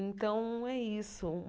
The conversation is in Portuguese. Então, é isso.